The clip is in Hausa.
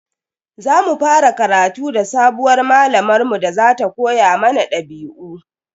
Za mu fara karatu da sabuwar malamar mu da za ta koya mana dabi'u.